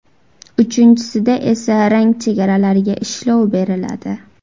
Uchinchisida esa rang chegaralariga ishlov beriladi.